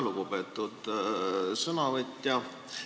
Lugupeetud sõnavõtja!